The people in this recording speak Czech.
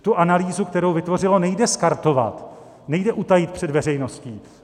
Tu analýzu, kterou vytvořilo, nejde skartovat, nejde utajit před veřejností.